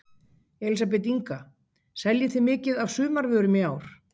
Elísabet Inga: Seljið þið mikið af sumarvörum í ár?